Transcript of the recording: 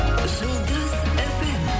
жұлдыз фм